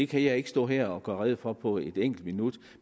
kan jeg ikke stå her og gøre rede for på et enkelt minut